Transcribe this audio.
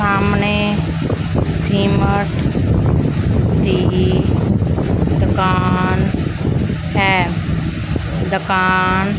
ਸਾਹਮਣੇ ਸੀਮਟ ਦੀ ਦੁਕਾਨ ਹੈ ਦੁਕਾਨ --